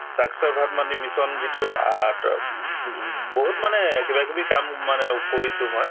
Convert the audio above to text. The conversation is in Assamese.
saakshar bharat মানে mission যিটো আ উম উম বহুত মানে কিবাকিবি কাম মানে ও কৰিছো মই